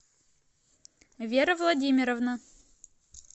вера владимировна